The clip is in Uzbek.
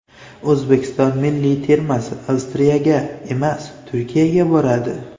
O‘zbekiston milliy termasi Avstriyaga emas, Turkiyaga boradi.